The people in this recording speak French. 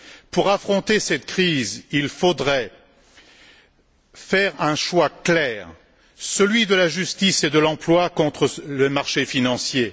Pour affronter cette crise, il faudrait faire un choix clair celui de la justice et de l'emploi contre le marché financier